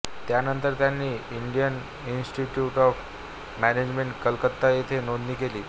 त्यानंतर त्यांनी Indian institute of management Calcutta येथे नोंदणी केली